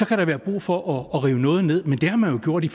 kan der være brug for at rive noget ned men det har man gjort i